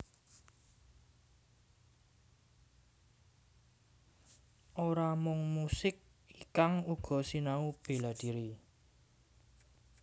Ora mung musik Ikang uga sinau béladhiri